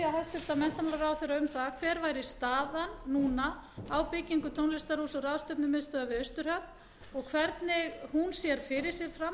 hæstvirtan menntamálaráðherra um það hver væri staðan núna á byggingu tónlistarhúss og ráðstefnumiðstöðvar við austurhöfn og hvernig hún sér fyrir sér framhald